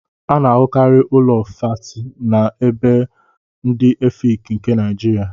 A na ahụkarị Ụlọ fáátị na ébò ndị Efịịki nke Naijiria